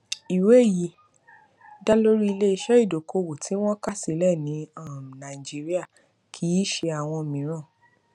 ìwé yìí dá lórí iléiṣẹ ìdókòwò tí wọn kà sílẹ ní um nàìjíríà kì í ṣe àwọn mìíràn